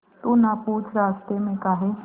तू ना पूछ रास्तें में काहे